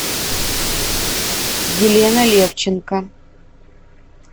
елена левченко